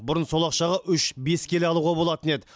бұрын сол ақшаға үш бес келі алуға болатын еді